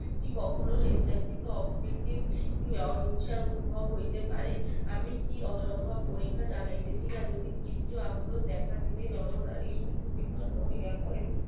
কি কখনো সেচ কৃত আকৃতি অহিংসার উদ্ভব হইতে পরে আমি কি অসম্ভব পরীক্ষা চালাইতে ছিলাম যে ক্ষিপ্ত আক্রোশ দেখা দিবে নর নারী বিপন্ন হইয়া পরে